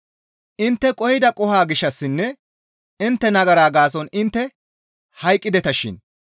Intte qohida qoho gishshassinne intte nagara gaason intte hayqqideta shin;